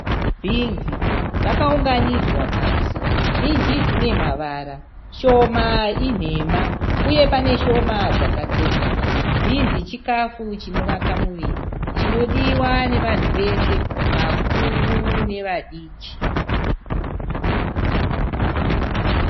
Binzi dzakaunganidzwa pasi Zhinji dzine mavara. Shoma inhema uye pane shoma dzakatsemuka. Binzi chikafu chinovaka muviri chinodiwa nevanhu wese, vakuru nevadiki.